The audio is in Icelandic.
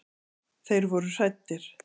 Þeir voru hræddir.